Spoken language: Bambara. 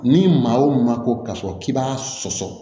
Ni maa o maa ko k'a fɔ k'i b'a sɔsɔ